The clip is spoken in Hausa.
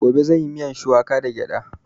Gobe zan yi miyan shuwaka da gyada